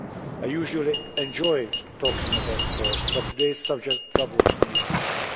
I usually enjoy talking about sport, but today's subject troubles me deeply.